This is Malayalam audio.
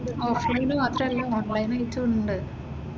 ഓഫ്‌ലൈന് മാത്രം അല്ല ഓൺലൈൻ ആയിട്ടും ഉണ്ട്.